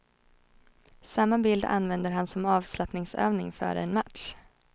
Samma bild använder han som avslappningsövning före en match.